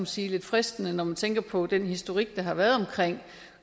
sige fristende når man tænker på den historik der har været om